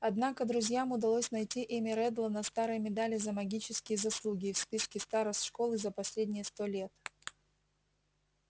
однако друзьям удалось найти имя реддла на старой медали за магические заслуги и в списке старост школы за последние сто лет